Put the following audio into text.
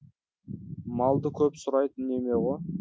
малды көп сұрайтын неме ғой